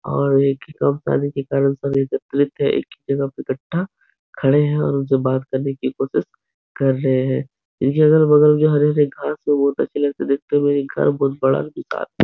और एक है। एक ही जगह पे कट्ठा खड़े हैं और उनसे बात करने की कोशिश कर रहे हैं। ये अगल बगल के हरे हरे घास को बहोत देखते हुए। घर बहुत बड़ा --